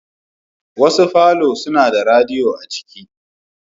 Wasu Falo suna da radiyo a cikin.